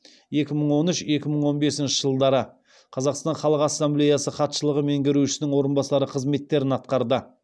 екі мың он үш екі мың он бесінші жылдары қазақстан халық ассамблеясы хатшылығы меңгерушісінің орынбасары қызметтерін атқарды